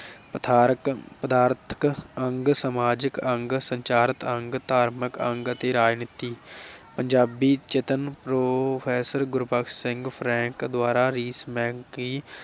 ਪਦਾਰਥ, ਪਦਾਰਥਕ ਅੰਗ, ਸਮਾਜਕ ਅੰਗ, ਸੰਚਾਰਕ ਅੰਗ, ਧਾਰਮਿਕ ਅੰਗ ਅਤੇ ਰਾਜਨੀਤੀ। ਪੰਜਾਬੀ ਚਿੰਤਨ professor ਗੁਰਬਖਸ਼ ਸਿੰਘ ਫਰੈਂਕ ਦੁਆਰਾ ਦੀ